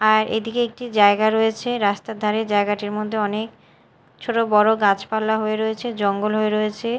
আর এদিকে একটি জায়গা রয়েছে রাস্তার ধারে জায়গাটির মধ্যে অনেক ছোট বড় গাছপালা হয়ে রয়েছে জঙ্গল হয়ে রয়েছে।